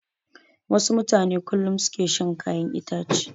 Wasu mutane kullum su ke shan kayan itace.